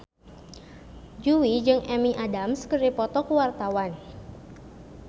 Jui jeung Amy Adams keur dipoto ku wartawan